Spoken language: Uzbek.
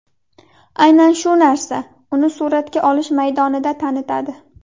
Aynan shu narsa uni suratga olish maydonida tanitadi.